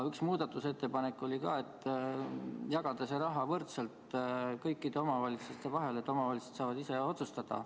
Üks muudatusettepanek oli ka, et jagada see raha võrdselt kõikide omavalitsuste vahel, et omavalitsused saaksid ise otsustada.